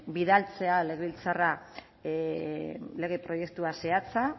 bidaltzea legebiltzarra lege proiektua zehatza